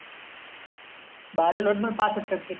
बारावीला होते णा पाहास्ट टक्के